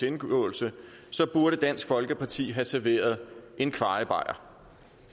indgåelse burde dansk folkeparti have serveret en kvajebajer